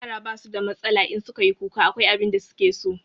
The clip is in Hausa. Yara ba su da matsala, in su ka yi kuka akwai abin da su ke so.